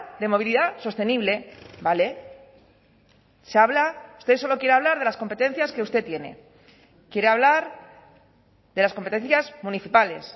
de movilidad sostenible vale se habla usted solo quiere hablar de las competencias que usted tiene quiere hablar de las competencias municipales